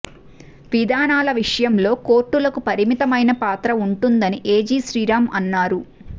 విధానాల విషయంలో కోర్టులకు పరిమితమైన పాత్ర ఉంటుందని ఏజీ శ్రీరామ్ అన్నారు